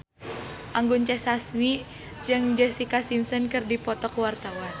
Anggun C. Sasmi jeung Jessica Simpson keur dipoto ku wartawan